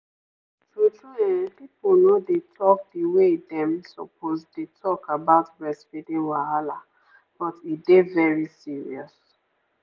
true true[um]people no dey talk the way dem suppose dey talk about breastfeeding wahala but e dey very serious.